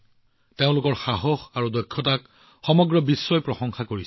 তেওঁলোকৰ সাহস আৰু দক্ষতাক সমগ্ৰ বিশ্বতে প্ৰশংসা কৰা হৈছে